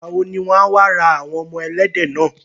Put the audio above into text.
Ìgbàwo ni wọ́n á wá ra àwọn ọmọ ẹlẹ́dẹ̀ náà.